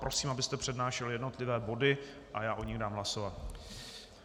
Prosím, abyste přednášel jednotlivé body a já o nich dám hlasovat.